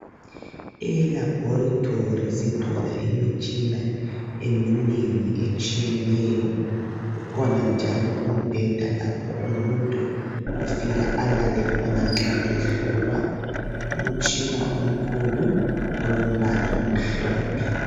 ELaboratory sithola imitshina eminengi, etshiyeneyo. Ukhona njalo umbheda, lapho umuntu afika alale khona nxa ehlolwa. Umtshina omkhulu, olombala omhlophe.